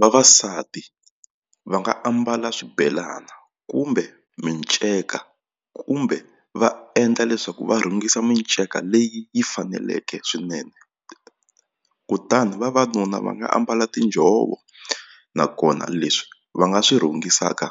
Vavasati va nga ambala swibelana kumbe minceka kumbe va endla leswaku va rhungisa minceka leyi yi faneleke swinene kutani vavanuna va nga ambala tinjhovo nakona leswi va nga swi rhungisaka